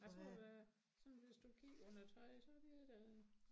Jeg tror det sådan hvis du kigger under trøjen så det da